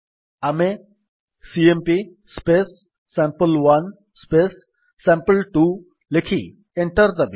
ଆମେ CMP sample one sample two ଲେଖି enter ଦାବିବା